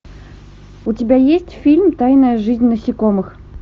у тебя есть фильм тайная жизнь насекомых